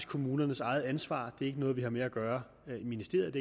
kommunernes eget ansvar det er ikke noget vi har med at gøre i ministeriet